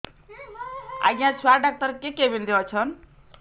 ଆଜ୍ଞା ଛୁଆ ଡାକ୍ତର କେ କେବିନ୍ ରେ ଅଛନ୍